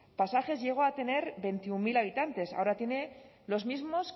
pasajes llegó a tener veintiuno mil habitantes ahora tiene los mismos